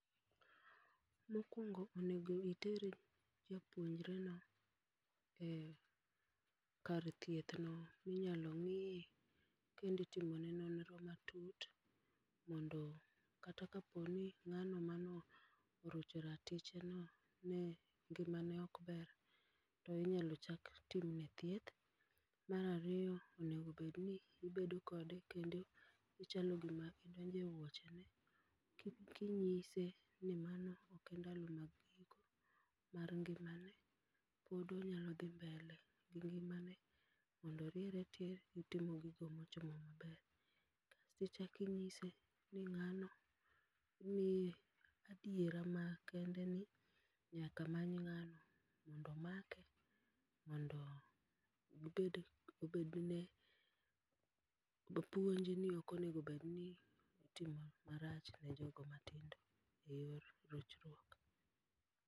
Mokuongo onego itere japuonjreno ee kar thiethno minyalo ng'iye kendo itimone nonro matut mondo kata kaponi ng'ano mano orocho raticheno ne ngimane ok ber to inyalo chak timne tieth. Mar ariyo onego bedni ubedo kode kendo ichalo gima idonje wuochene ki kinyiseni nimano ok e ndalo mag giko mar ngimane pod onyalo dhi mbele gi ngimane mondo oriere tir kutimo gigo mochomo maber. Kichaki inyise ni ng'ano ni adiera makende ni nyaka many ng'ano mondo omake mondo ubed obedne puonj ni ok onego bedni itimo marach ne jogo mantindo eyor rochruok.